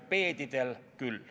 Mopeedidel on need küll.